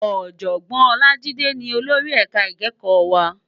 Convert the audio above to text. Òjògbòn Olajide ni ólóri èká ikèékò wá